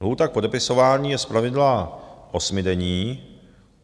Lhůta k podepisování je zpravidla osmidenní.